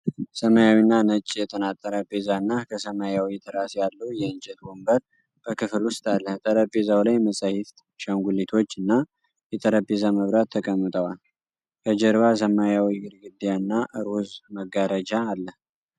ሰማያዊና ነጭ የጥናት ጠረጴዛ እና ከሰማያዊ ትራስ ያለው የእንጨት ወንበር በክፍል ውስጥ አለ። ጠረጴዛው ላይ መጻሕፍት፣ አሻንጉሊቶች እና የጠረጴዛ መብራት ተቀምጠዋል። ከጀርባ ሰማያዊ ግድግዳና ሮዝ መጋረጃ አለ።